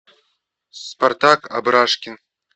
спартак абрашкин